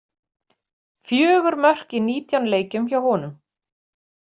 Fjögur mörk í nítján leikjum hjá honum.